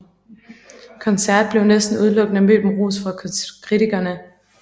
Koncert blev næsten udelukkende mødt med ros fra kritikerne